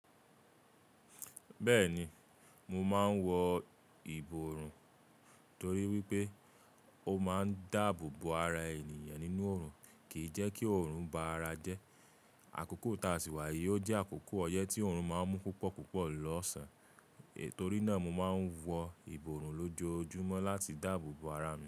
Bẹ́ẹ̀ni, mo máa ń wọ ìborùn torí wípé ó máa ń dáàbò bo ara ènìyàn nínú òrùn, kìí jẹ́ kí òrùn ba ara jẹ́. Àkókò táà sì wà yìí ó jẹ́ àkókò ọyẹ́ tí òrùn máa ń mú púpọ̀ púpọ̀ lọ́sàn-án, itorí náà mo máa ń wọ ìborùn lójoojúmọ́ láti dáàbò bo ara mi.